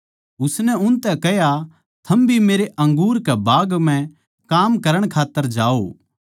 उसनै उनतै कह्या थम भी मेरे अंगूर के बाग म्ह काम करण खात्तर जाओ